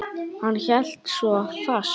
Hann hélt svo fast.